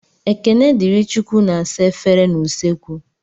Ekenedịrịchukwu na-asa efere n'usekwu.